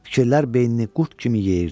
Fikirlər beynini qurd kimi yeyirdi.